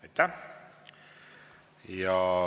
Aitäh!